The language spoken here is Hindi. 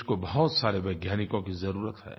देश को बहुत सारे वैज्ञानिकों की ज़रूरत है